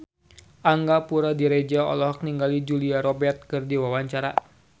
Angga Puradiredja olohok ningali Julia Robert keur diwawancara